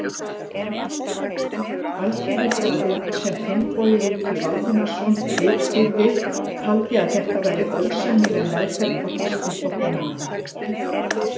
Alþýðublaðið, sem Finnbogi Rútur Valdimarsson ritstýrði, taldi að þetta væri ósæmileg meðferð á þýskum flóttamönnum.